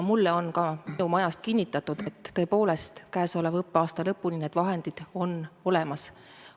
Mulle on ka minu majast kinnitatud, et käesoleva õppeaasta lõpuni on need vahendid tõepoolest olemas.